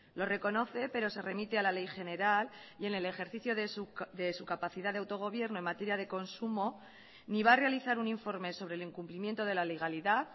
lo reconoce pero se remite a la ley general y en el ejercicio de su capacidad de autogobierno en materia de consumo ni va a realizar un informe sobre el incumplimiento de la legalidad